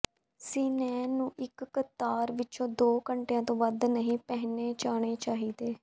ਸਿਨੇਨ ਨੂੰ ਇੱਕ ਕਤਾਰ ਵਿੱਚ ਦੋ ਘੰਟਿਆਂ ਤੋਂ ਵੱਧ ਨਹੀਂ ਪਹਿਨੇ ਜਾਣੇ ਚਾਹੀਦੇ